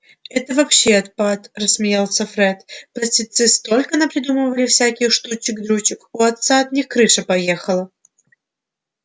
это вообще отпад рассмеялся фред простецы столько напридумывали всяких штучек-дрючек у отца от них крыша поехала